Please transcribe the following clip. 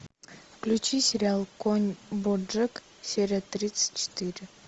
включи сериал конь боджек серия тридцать четыре